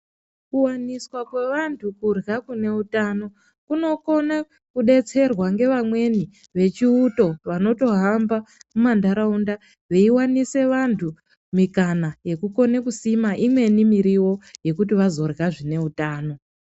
Kuwaniswa kwevantu kurya kune utano kunokona kudetserwa ngevamweni vechiuto vanotohamba mumandaraunda veiwanise vantu mikana yekukone kusima imweni miriwo yekuti vazorya zvine utano.